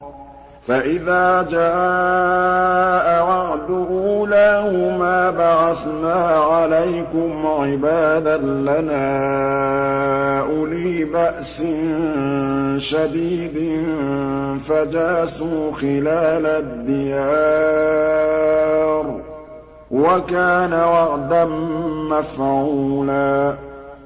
فَإِذَا جَاءَ وَعْدُ أُولَاهُمَا بَعَثْنَا عَلَيْكُمْ عِبَادًا لَّنَا أُولِي بَأْسٍ شَدِيدٍ فَجَاسُوا خِلَالَ الدِّيَارِ ۚ وَكَانَ وَعْدًا مَّفْعُولًا